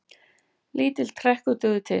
Lítill trekkur dugði til.